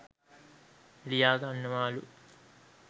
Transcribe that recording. ලියාගන්නවලු